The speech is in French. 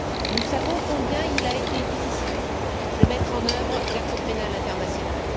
Nous savons combien il a été difficile de mettre en œuvre la Cour pénale internationale.